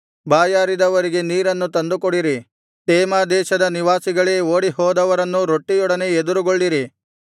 ಬಾಯಾರಿದವರಿಗೆ ನೀರನ್ನು ತಂದುಕೊಡಿರಿ ತೇಮಾ ದೇಶದ ನಿವಾಸಿಗಳೇ ಓಡಿ ಹೋದವರನ್ನು ರೊಟ್ಟಿಯೊಡನೆ ಎದುರುಗೊಳ್ಳಿರಿ